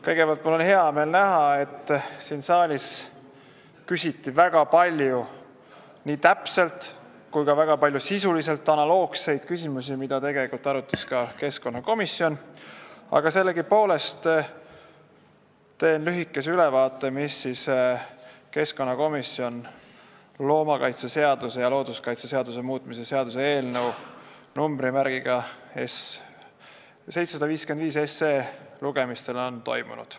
Kõigepealt, mul on hea meel näha, et siin saalis küsiti väga palju nii täpselt samu kui ka sisult analoogseid küsimusi, mida arutas ka keskkonnakomisjon, aga sellegipoolest teen lühikese ülevaate, mis keskkonnakomisjonis loomakaitseseaduse ja looduskaitseseaduse muutmise seaduse eelnõu 755 lugemistel on toimunud.